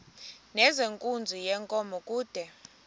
nezenkunzi yenkomo kude